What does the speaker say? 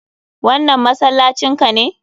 Wannan masallacin ka ne?